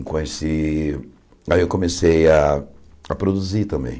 Conheci aí eu comecei a a produzir também.